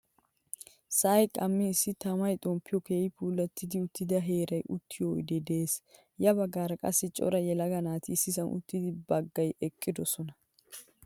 Sa'ay qamman issi tama xomppiyan keehin puulattidi uttida heeran uttiyo oyde de'ees. Ya baggaara qassi cora yelaga naati issisan uttidi baggay eqqidosona.